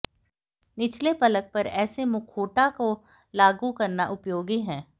निचले पलक पर ऐसे मुखौटा को लागू करना उपयोगी है